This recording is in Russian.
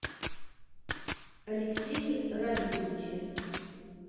алексее радиковиче